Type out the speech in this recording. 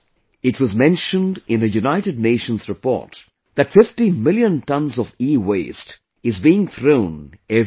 It was mentioned in a United Nations report that 50 million tonnes of EWaste is being thrown every year